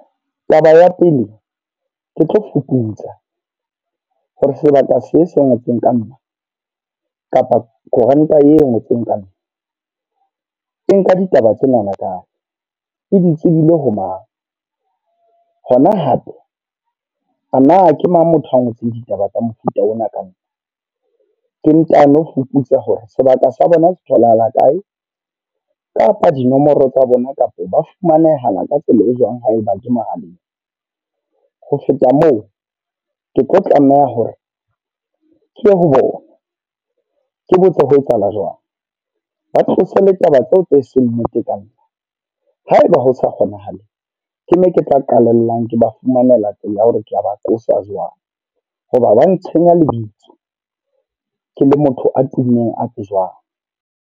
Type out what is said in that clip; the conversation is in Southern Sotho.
Taba ya pele, ke tlo fuputsa. Hore sebaka se se ngotsweng ka nna, kapa koranta e ngotsweng ka nna. E nka ditaba tsenana kae, e di tsebile ho mang. Hona hape a na ke mang motho a ngotseng ditaba tsa mofuta ona ka nka. Ke ntano fuputsa hore sebaka sa bona se tholahala kae, kapa dinomoro tsa bona kapa ba fumanehana ka tsela e jwang haeba ke mohaleng. Ho feta moo, ke tlo tlameha hore, ke ye ho bona. Ke botse ho etsahala jwang. Ba tlose le taba tseo tse seng nnete ka nna. Haeba hosa kgonahala, ke moo ke tla qalellang ke ba fumanela tsela ya hore ke a ba qosa jwang. Hoba ba ntshenya lebitso, ke le motho a tummeng a tsejwang.